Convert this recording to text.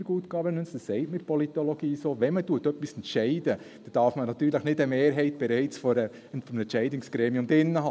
In der Good Governance – das sagt man in der Politologie so – darf man natürlich, wenn man etwas entscheidet, nicht bereits eine Mehrheit in diesem Entscheidungsgremium drin haben.